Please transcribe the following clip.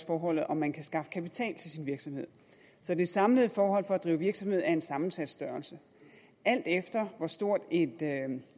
forhold om man kan skaffe kapital til sin virksomhed så det samlede forhold for at drive virksomhed er en sammensat størrelse alt efter hvor stort et